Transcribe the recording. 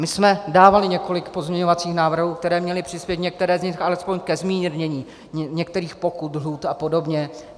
My jsme dávali několik pozměňovacích návrhů, které měly přispět, některé z nich, alespoň ke zmírnění některých pokut, lhůt a podobně.